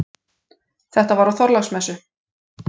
Þetta var á Þorláksmessu.